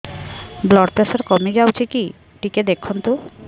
blood pressure କମି ଯାଉଛି କି ଟିକେ ଦେଖନ୍ତୁ